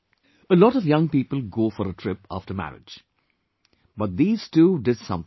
A lot of young people go for a trip after marriage, but these two did something different